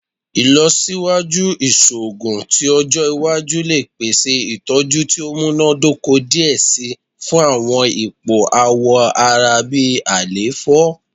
Ilọsiwaju iṣoogun ti ọjọ iwaju le pese itọju ti o munadoko diẹ sii fun awọn ipo awọ ara bi àléfọ